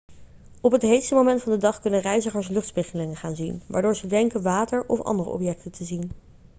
op het heetste moment van de dag kunnen reizigers luchtspiegelingen gaan zien waardoor ze denken water of andere objecten te zien